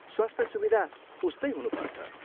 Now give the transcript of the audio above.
स्वास्थ्य सुविधा उस्तै हुनुपर्छ।